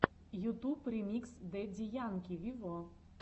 ютуб ремикс дэдди янки вево